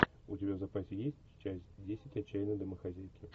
у тебя в запасе есть часть десять отчаянные домохозяйки